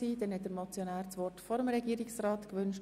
Motionär Knutti hat das Wort vor dem Regierungsrat gewünscht.